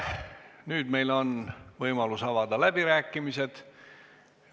Nüüd meil on võimalus avada läbirääkimised.